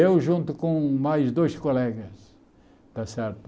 Eu junto com mais dois colegas, está certo?